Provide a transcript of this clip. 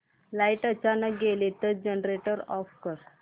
light अचानक गेली तर जनरेटर ऑफ कर